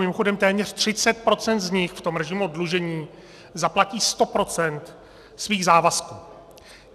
Mimochodem téměř 30 % z nich v tom režimu oddlužení zaplatí 100 % svých závazků.